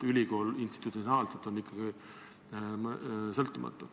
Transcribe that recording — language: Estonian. Ülikool institutsionaalselt on ikkagi sõltumatu.